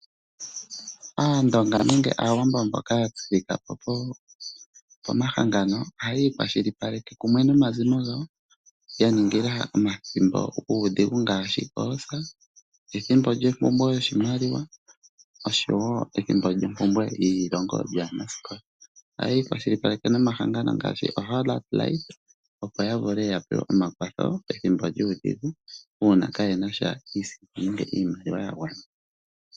Aandonga nenge Aawambo mboka ya tseya omahangano ohaya ikwashilipaleke nomazimo gawo ya ningila omathimbo guudhigu ngaashi oosa, ethimbo lyompumbwe yoshimaliwa nosho wo ethimbo lyompumbwe yeeilongo lyaanasikola. Ohaya ikwashilipaleke nomahangano ngaashi Hollard, opo ya vule ya pewe omakwatho pethimbo lyuudhigu, uuna kaaye na iisimpo nenge iimaliwa ya gwana.